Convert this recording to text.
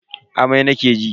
Amai nake ji.